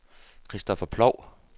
Kristoffer Ploug